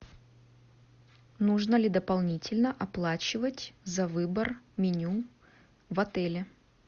нужно ли дополнительно оплачивать за выбор меню в отеле